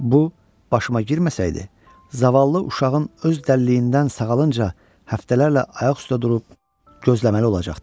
Bu başıma girməsəydi, zavallı uşağın öz dəlliyindən sağalınca həftələrlə ayaq üstdə durub gözləməli olacaqdım.